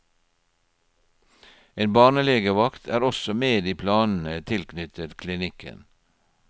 En barnelegevakt er også med i planene tilknyttet klinikken.